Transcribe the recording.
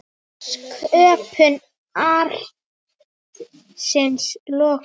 Sköpun arðsins lokkar.